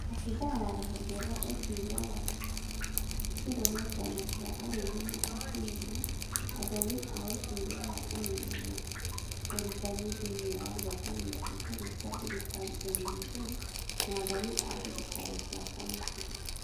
Abithaa wa rũhonge rwa ũtuĩria wa kĩrũrũngano kĩa arũme na atumia, athomi a ũtuĩria wa ũmenyo na ũrutani thĩinĩ wa ngwatanĩro itarĩ cia thirikari (NGO) na athomi a thirikari cia county.